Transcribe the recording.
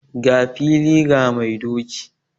Ga fili ga mai doki